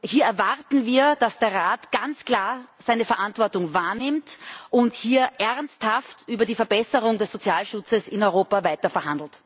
Hier erwarten wir, dass der Rat ganz klar seine Verantwortung wahrnimmt und ernsthaft über die Verbesserung des Sozialschutzes in Europa weiterverhandelt.